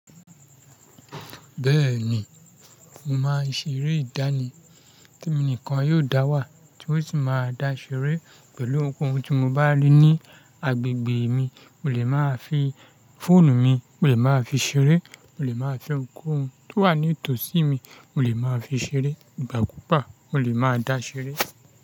Bẹ́ẹ̀ ni, mo máa ṣe eré ìdánì temi nìkan yóò dá wà tí ó sì máa dá ṣeré pẹ̀lú ohunkóhun tí mo bá rí ní agbègbè mi. Mo lè máa fi fóònù mi, mo lè máa fi ṣeré, mo lè máa fi ohunkóhun tó wà ní tòsí mi, mo lè máa fi ṣeré, ìgbàkúùgba mo lè máa dá ṣeré.